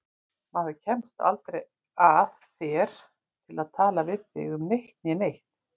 Maður kemst aldrei að þér til að tala við þig um eitt né neitt.